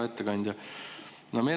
Hea ettekandja!